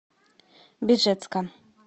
бежецка